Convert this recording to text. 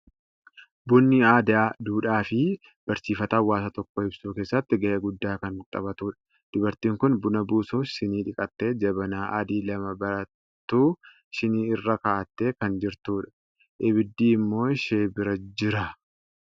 Bunni aadaa, duudhaa fi barsiifata hawaasa tokkoo ibsuu keessatti gahee guddaa kan taphatudha. Dubariin kun buna buusuuf shinii dhiqattee, jabanaa adii lama barattuu shinii irra kaa'atte kan jirtudha. Abidd immoo ishee birajira.